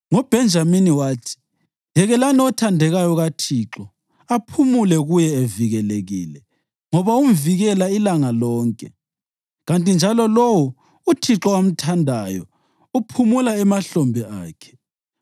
NgoBhenjamini wathi: “Yekelani othandekayo kaThixo aphumule kuye evikelekile, ngoba umvikela ilanga lonke, kanti njalo lowo uThixo amthandayo uphumula emahlombe akhe.”